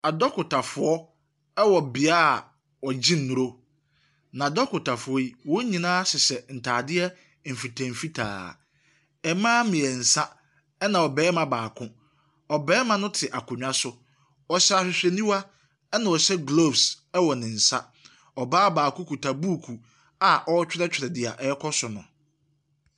Adɔkotafoɔ wɔ beaeɛ a wɔgye nnuro, na adɔkotafoɔ yi, wɔn nyinaa hyehyɛ ntadeɛ mfitaa mfitaa. Mmaa mmeɛnsa, ɛna ɔbarima baako. Ɔbarima no te akonnwa so. Ɔhyɛ ahwehwɛniwa, ɛna ɔhyɛ gloves wɔ ne nsa ɔbaa baako kita a ɔretwerɛtwerɛ deɛ ɛrekɔ so no.